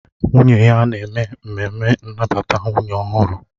Nwunye ya na-eme ememme nnabata nwunye ọhụrụ